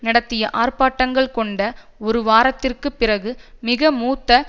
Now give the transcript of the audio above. நடத்திய ஆர்ப்பாட்டங்கள் கொண்ட ஒருவாரத்திற்குப் பிறகு மிக மூத்த